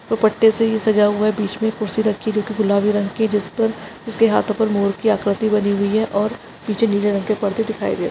दुप्पटे से ये सजा हुआ है बीच में कुर्सी रखी जोकी गुलाबी रंग की जिसपे उसके हाथों पर मोर की आकृति बनी हुई है और पीछे नीले रंग के पर्दे दिखाई दे रहे --